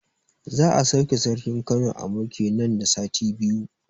Za a sauke sarkin Kano a mulki nan da sati biyu